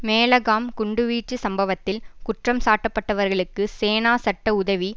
மேலகாம் குண்டுவீச்சு சம்பவத்தில் குற்றம் சாட்டப்பட்டவர்களுக்கு சேனா சட்ட உதவி